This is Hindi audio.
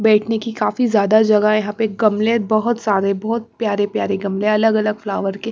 बैठने की काफ़ी ज्यादा जगह यहां पे गमले बहुत सारे बहुत प्यारे-प्यारे गमले अलग-अलग फ्लावर के--